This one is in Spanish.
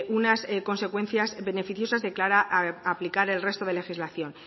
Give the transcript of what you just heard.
unas consecuencias beneficiosas a la hora de aplicar el resto de legislación